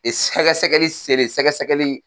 sɛgɛsɛgɛli selen sɛgɛsɛgɛli